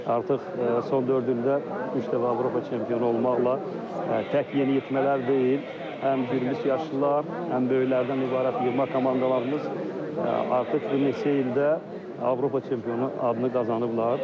Artıq son dörd ildə üç dəfə Avropa çempionu olmaqla tək yeniyetmələr deyil, həm bir yaşlılar, həm böyüklərdən ibarət yığma komandalarımız artıq bu neçə ildə Avropa çempionu adını qazanıblar.